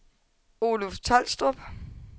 Oluf Tolstrup